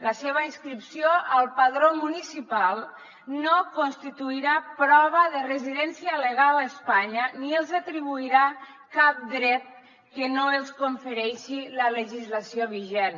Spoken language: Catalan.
la seva inscripció al padró municipal no constituirà prova de residència legal a espanya ni els atribuirà cap dret que no els confereixi la legislació vigent